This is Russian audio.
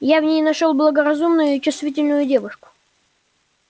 я в ней нашёл благоразумную и чувствительную девушку